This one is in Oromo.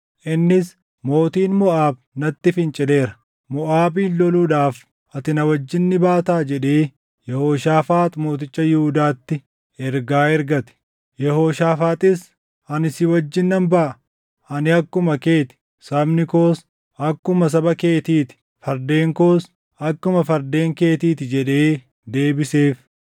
Innis, “Mootiin Moʼaab natti fincileera; Moʼaabin loluudhaaf ati na wajjin ni baataa?” jedhee Yehooshaafaax mooticha Yihuudaatti ergaa ergate. Yehooshaafaaxis, “Ani si wajjin nan baʼa; ani akkuma kee ti; sabni koos akkuma saba keetii ti; fardeen koos akkuma fardeen keetii ti” jedhee deebiseef.